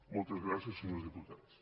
moltes gràcies senyors diputats